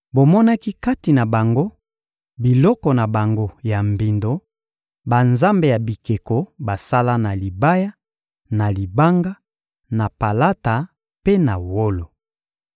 Bomonaki kati na bango biloko na bango ya mbindo, banzambe ya bikeko basala na libaya, na libanga, na palata mpe na wolo.